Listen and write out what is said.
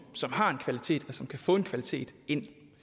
som har en kvalitet og som kan få en kvalitet ind det